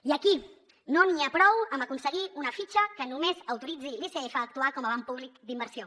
i aquí no n’hi ha prou amb aconseguir una fitxa que només autoritzi l’icf a actuar com a banc públic d’inversió